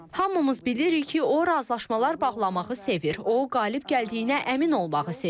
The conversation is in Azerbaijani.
Hamımız bilirik ki, o razılaşmalar bağlamağı sevir, o qalib gəldiyinə əmin olmağı sevir.